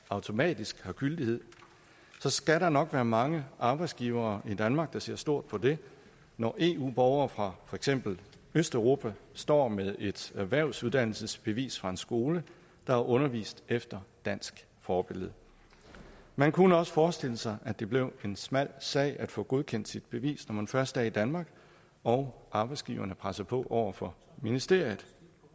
automatisk har gyldighed så skal der nok være mange arbejdsgivere i danmark der ser stort på det når eu borgere fra for eksempel østeuropa står med et erhvervsuddannelsesbevis fra en skole der har undervist efter dansk forbillede man kunne også forestille sig at det bliver en smal sag at få godkendt sit bevis når man først er i danmark og arbejdsgiverne presser på over for ministeriet